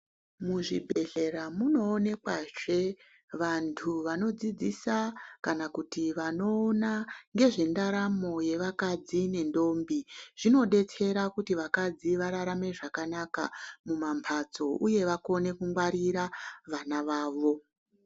Muzvibhehlera munoonekwazve vantu vanodzidzisa kana kuti vanoona nezvendaramo yevakadzi nentombi. Zvimodetsera kuti vakadzi vararame zvakanaka mumambatso uye vakone kungwarira vana vavo.